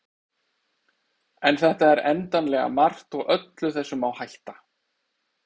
en þetta er endanlega margt og öllu þessu má hætta